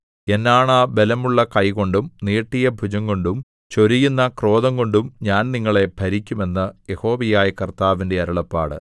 എന്നാണ ബലമുള്ള കൈകൊണ്ടും നീട്ടിയ ഭുജംകൊണ്ടും ചൊരിയുന്ന ക്രോധംകൊണ്ടും ഞാൻ നിങ്ങളെ ഭരിക്കും എന്ന് യഹോവയായ കർത്താവിന്റെ അരുളപ്പാട്